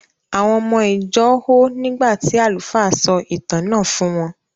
Àwọn ọmọ ìjọ hó nígbà tí àlùfáà sọ ìtàn náà fún wọ́n.